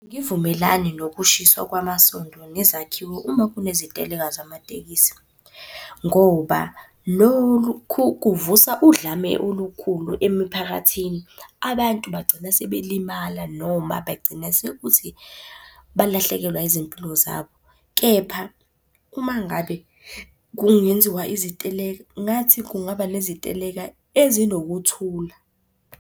Angivumelani nokushiswa kwamasonto nezakhiwo uma kuneziteleka zamatekisi, ngoba lokhu kuvusa udlame olukhulu emiphakathini. Abantu bagcina sebelimala noma bagcina sekuthi balahlekelwa yizimpilo zabo. Kepha uma ngabe kungenziwa iziteleka, ngathi kungaba neziteleka ezinokuthula.